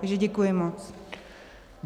Takže děkuji moc.